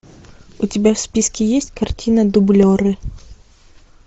у тебя в списке есть картина дублеры